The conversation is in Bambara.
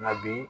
Nka bi